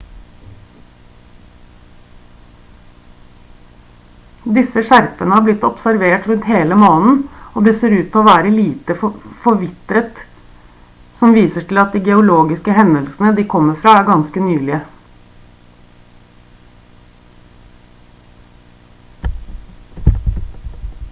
disse skjerpene har blitt observert rundt hele månen og de ser ut til å være lite forvitret noe som viser til at de geologiske hendelsene de kommer fra er ganske nylige